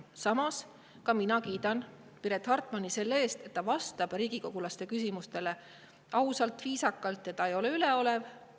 Samas minagi kiidan Piret Hartmanit selle eest, et ta vastab riigikogulaste küsimustele ausalt, viisakalt ja ta ei ole üleolev.